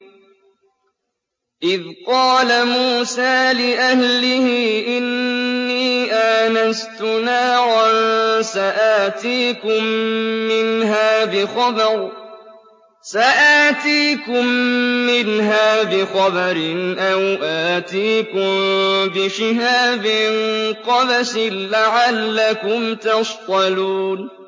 إِذْ قَالَ مُوسَىٰ لِأَهْلِهِ إِنِّي آنَسْتُ نَارًا سَآتِيكُم مِّنْهَا بِخَبَرٍ أَوْ آتِيكُم بِشِهَابٍ قَبَسٍ لَّعَلَّكُمْ تَصْطَلُونَ